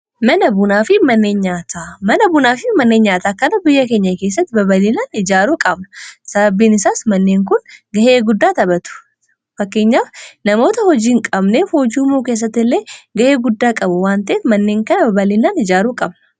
Mana bunaafi manneen nyaataa kana biyya keenya keessatti babalinaan ijaaruu qabna sababbiin isaas manneen kun gahee guddaa taphatu fakkeenya namoota hojiin qabnee hojii uumuu keessatti illee gahee guddaa qabu waan taheef manneen kana baballinaan ijaaruu qabna.